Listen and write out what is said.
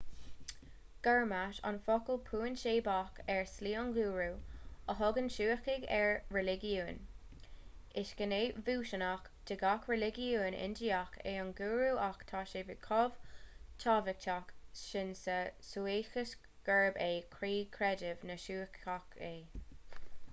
gurmat an focal puinseábach ar slí an ghúrú a thugann suícigh ar a reiligiún is gné bhunúsach de gach reiligiún indiach é an gúrú ach tá sé chomh tábhachtach sin sa suíceachas gurb é croí chreideamh na suíceach é